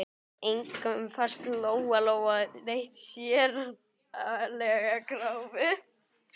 Engum fannst Lóa-Lóa neitt sérlega gáfuð.